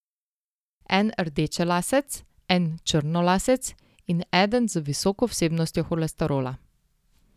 En rdečelasec, en črnolasec in eden z visoko vsebnostjo holesterola.